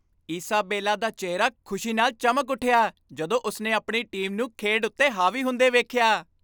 Isabella ਦਾ ਚਿਹਰਾ ਖੁਸ਼ੀ ਨਾਲ ਚਮਕ ਉੱਠਿਆ ਜਦੋਂ ਉਸਨੇ ਆਪਣੀ ਟੀਮ ਨੂੰ ਖੇਡ ਉੱਤੇ ਹਾਵੀ ਹੁੰਦੇ ਵੇਖਿਆ